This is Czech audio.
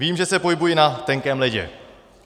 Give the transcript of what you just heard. Vím, že se pohybuji na tenkém ledě.